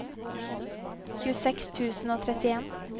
tjueseks tusen og trettien